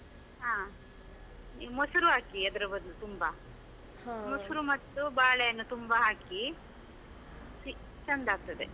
ಆ, ಈ ಮೊಸರು ಹಾಕಿ ಅದರ ಬದ್ಲು ತುಂಬಾ. ಮತ್ತು ಬಾಳೆಹಣ್ಣು ತುಂಬ ಹಾಕಿ, ಚಿ~ ಚಂದಾಗ್ತಾದೆ.